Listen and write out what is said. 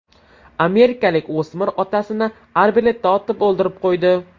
Amerikalik o‘smir otasini arbaletdan otib o‘ldirib qo‘ydi.